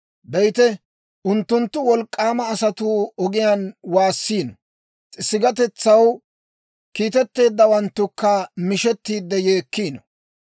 Be'ite, unttunttu wolk'k'aama asatuu ogiyaan waassiino; sigatetsaw kiitteeddawanttukka mishettiide yeekkiino.